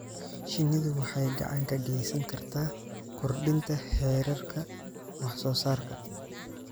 Shinnidu waxay gacan ka geysan kartaa kordhinta heerarka wax soo saarka.